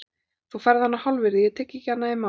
Þú færð hana á hálfvirði, ég tek ekki annað í mál.